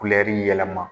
yɛlɛma